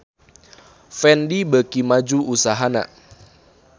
Fendi beuki maju usahana